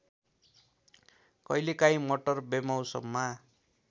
कहिलेकाहीं मटर बेमौसममा